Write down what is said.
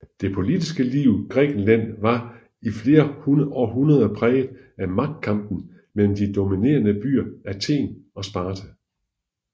Det politiske liv i Grækenland var i flere århundreder præget af magtkampen mellem de dominerende byer Athen og Sparta